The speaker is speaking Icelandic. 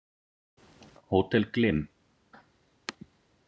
Hótel Glym